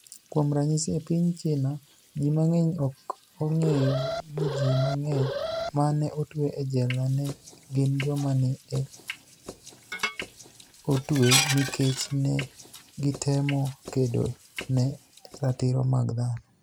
Kuom raniyisi, e piniy Chinia, ji manig'eniy ok onig'eyo nii ji manig'eniy ma ni e otwe e jela ni e gini joma ni e otwe niikech ni e gitemo kedo ni e ratiro mag dhano.